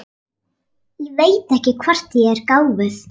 Ég veit ekki hvort ég er gáfuð.